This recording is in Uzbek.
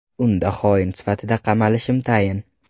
Unda xoin sifatida qamalishim tayin.